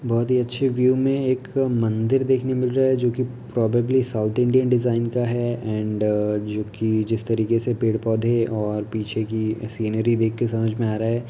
बहुत ही अच्छे व्यू में एक मंदिर देखने मिल रहा जो की प्रोबेबली साउथ इंडियन डिजाइन का है एण्ड जो की जिस तरीके से पेड़ पौधे और पीछे की सीनरी देख के समझ में आ रहा है |